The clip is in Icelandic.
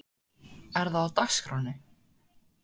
Er það á dagskránni?